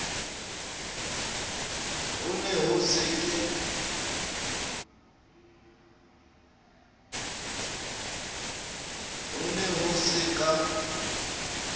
ho ne ho se ka